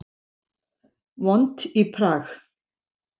Vont í Prag